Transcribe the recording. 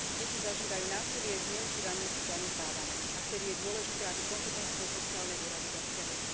Deti zažívajú násilie, zneužívanie, sú zanedbávané a vtedy je dôležité, aby kompetentné sociálne úrady zasiahli.